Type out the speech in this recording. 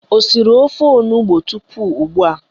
Ị siri ofe onugbo tupu ugbua?